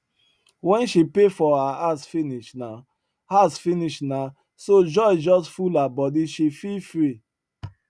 when she pay for her house finish na house finish na so joy just full her bodyshe feel free